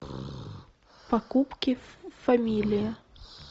покупки в фамилия